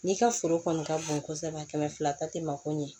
N'i ka foro kɔni ka bon kosɛbɛ kɛmɛ fila ta tɛ mako ɲɛ